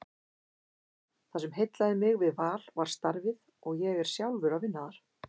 Það sem heillaði mig við Val var starfið og ég er sjálfur að vinna þar.